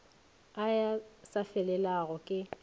a a sa felelago ke